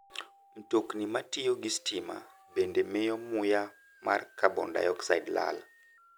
Mtokni matiyo gi stima bende miyo muya mar carbon dioxide lal.